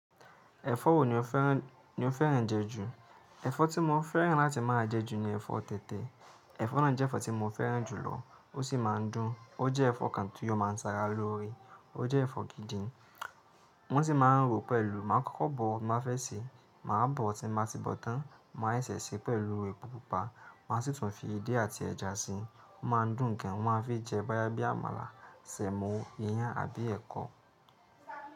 Ẹ̀fọ́ wo ni o fẹ́ràn, ni o fẹ́ràn jẹ ju? Ẹ̀fọ́ tí mo fẹ́ràn láti máa jẹ ju ni ẹ̀fọ́ tẹ̀tẹ̀. Ẹ̀fọ́ náà jẹ́ ẹ̀fọ́ tí mo fẹ́ràn jù lọ. Ó sì máa ń dùn. Ó jẹ́ ẹ̀fọ́ kan tí ó máa ń sára lóore. Ó jẹ́ ẹ̀fọ́ gidi. Wọ́n sì máa ń ro pẹ̀lú. Máa ń kọ́kọ́ bọ̀ tí máa fẹ́ sè, màá bọ̀ tí máa ti bọ̀ tán, màá ṣẹ̀ ṣe pẹ̀lú epo pupa. Màá sì tún fi edé àti ẹja síi. Ó máa ń dùn gan. Wọ́n máa ń fi jẹ báyá bí amala, semo, iyán àbí ẹ̀kọ.